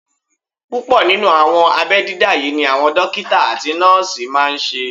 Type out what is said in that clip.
Púpọ̀ nínú àwọn abẹ́ dídá yí ni àwọn dókítà àti nọ́ọ̀sì máa n ṣe